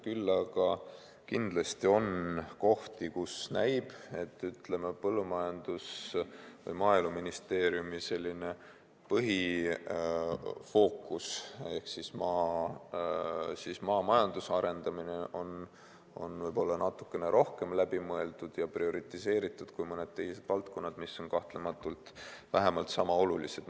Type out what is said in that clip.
Küll aga kindlasti on kohti, kus näib, et Maaeluministeeriumi põhifookus ehk maamajanduse arendamine on võib-olla natukene rohkem läbi mõeldud ja prioriseeritud kui mõned teised valdkonnad, mis on kahtlemata vähemalt sama olulised.